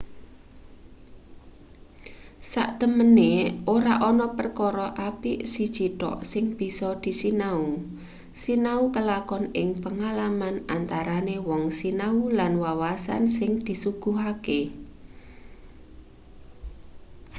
saktemene ora ana perkara apik siji thk sing bisa disinau sinau kelakon ing pengalaman antarane wong sinau lan wawasan sing disuguhake